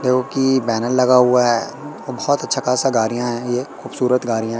जो की बैनर लगा हुआ है बहोत अच्छा खासा गाड़ियां है ये खूबसूरत गाड़ियां--